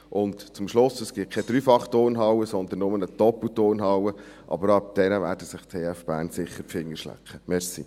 Und zum Schluss: Es gibt keine Dreifachturnhalle, sondern nur eine Doppelturnhalle, aber wegen dieser werden sich die TF Bern sicher die Finger schlecken.